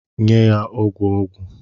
Nye ya ogwu ogwu!